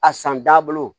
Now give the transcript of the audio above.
A san dabolo